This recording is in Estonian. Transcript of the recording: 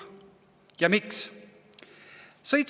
Ja miks?